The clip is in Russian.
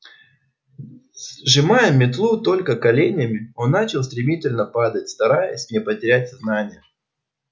сжимая метлу только коленями он начал стремительно падать стараясь не потерять сознание